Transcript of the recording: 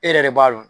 E yɛrɛ de b'a dɔn